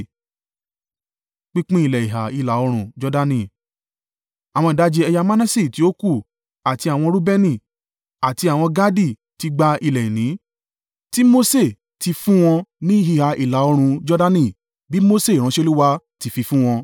Àwọn ìdajì ẹ̀yà Manase tí ó kù, àti àwọn Reubeni àti àwọn Gadi ti gba ilẹ̀ ìní, tí Mose ti fún wọn ní ìhà ìlà-oòrùn Jordani bí Mose ìránṣẹ́ Olúwa ti fi fún wọn.